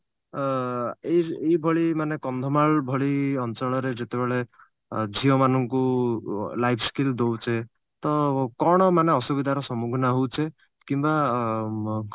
ଅ ଏଇ ଏଇ ଭଳି ମାନେ କନ୍ଧମାଳ ଭଳି ଅଞ୍ଚଳରେ ଯେତେବେଳେ ଝିଅ ମାନଙ୍କୁ life skill ଦଉଛେ ତ କଣ ମାନେ ଅସୁବିଧାର ସମୁଖୀନ ହଉଛେ କିମ୍ବା ବ